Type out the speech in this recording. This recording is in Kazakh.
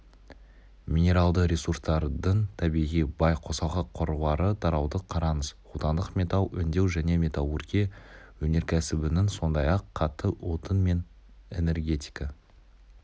минералды ресурстардың табиғи бай қосалқы қорлары тарауды қараңыз отандық металл өңдеу және металлургия өнеркәсібінің сондай-ақ қатты отын мен энергетика